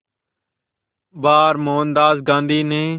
बार मोहनदास गांधी ने